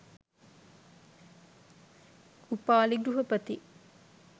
Upali ගෘහපති